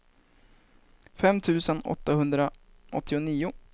fem tusen åttahundraåttionio